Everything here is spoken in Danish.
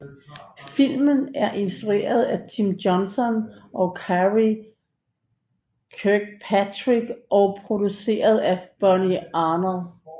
Filmen er instrueret af Tim Johnson og Karey Kirkpatrick og produceret af Bonnie Arnold